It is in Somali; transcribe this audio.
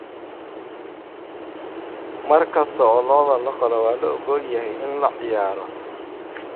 Mar kasta oo lo'da la qalo waa la ogol yahay in la ciyaaro.